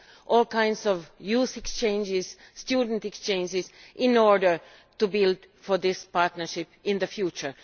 all kinds of youth exchanges and student exchanges in order to build for this partnership in the future.